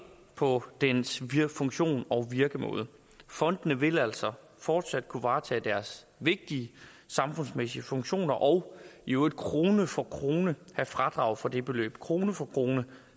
på dens funktion og virkemåde fondene vil altså fortsat kunne varetage deres vigtige samfundsmæssige funktioner og i øvrigt krone for krone have fradrag for det beløb krone for krone